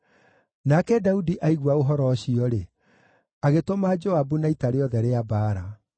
Nake Daudi aigua ũhoro ũcio-rĩ, agĩtũma Joabu na ita rĩothe rĩa mbaara.